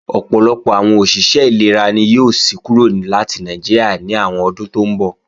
Ọ̀pọ̀lọpọ̀ àwọn òṣìṣẹ́ ìlera ni yóò sí kúrò láti Nàìjíríà ní àwọn ọdún tó ńbọ̀